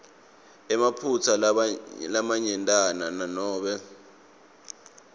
emaphutsa lamanyentana nanobe